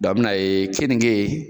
a bɛna ye keninge